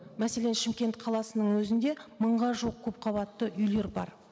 мәселен шымкент қаласының өзінде мыңға жуық көпқабатты үйлер бар